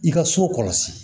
I ka so kɔlɔsi